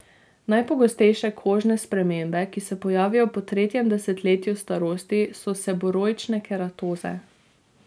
Najpogostejše kožne spremembe, ki se pojavijo po tretjem desetletju starosti, so seboroične keratoze.